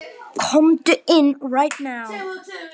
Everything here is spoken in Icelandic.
Komdu inn